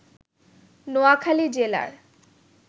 নোয়াখালী জেলার